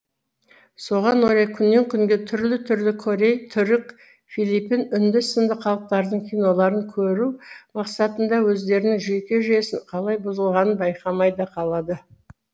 соған орай күннен күнге түрлі түрлі корей түрік филипин үнді сынды халықтардың киноларын көру мақсатында өздерінің жүйке жүйесінің қалай бұзылғанын байқамай да қалады